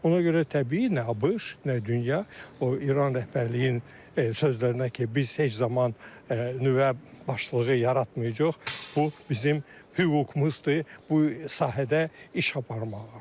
Ona görə təbii nə ABŞ, nə dünya, o İran rəhbərliyinin sözlərinə ki, biz heç zaman nüvə başlığı yaratmayacağıq, bu bizim hüququmuzdur bu sahədə iş aparmağa.